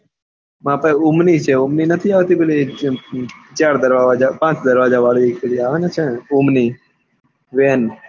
માર પાસે Omni છે ઓમ ની નથી આવતી એક દમ ચાર દરવાજા પાંચ દરવાજા વળી પેલી આવે છે ને ઓમ ની van